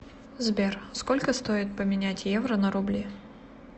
сбер сколько стоит поменять евро на рубли